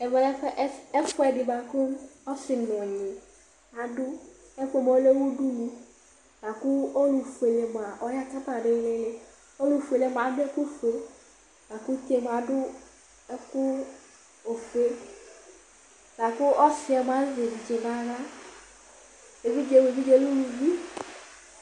Ɛvɛ lɛ ɛfʋ ɛdɩ bʋakʋ ɔsɩ nʋ ɔnyɩ adʋ Ɛfʋ yɛ lɛ udunu laku ɔlʋ fuele yɛ ya kama nʋ ilili Ɔlʋ fuele yɛ mʋa adʋ ɛkʋfue, laku uti yɛ mʋa adʋ ɛkʋ ofue Laku ɔsɩ yɛ mʋa azɛ evidze nʋ aɣla Evidze yɛ lɛ uluvi